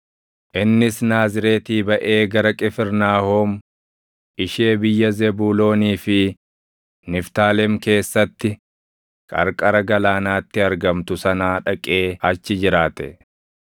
Innis Naazreetii baʼee gara Qifirnaahom ishee biyya Zebuuloonii fi Niftaalem keessatti qarqara galaanaatti argamtu sanaa dhaqee achi jiraate;